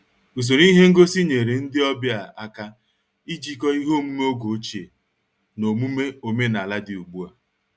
Usoro ihe ngosi nyere ndị ọbịa aka ijikọ ihe omume oge ochie na omume omenala dị ugbu a